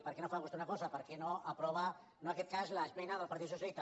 per què no fa vostè una cosa per què no aprova no en aquest cas l’esmena del partit socialista